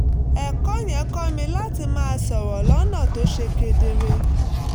ẹ̀kọ́ yẹn kọ́ mi láti máa sọ̀rọ̀ lọ́nà tó ṣe kedere